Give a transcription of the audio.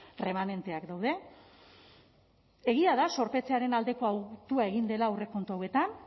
erremanenteak daude egia da zorpetzearen aldeko autua egin dela aurrekontu hauetan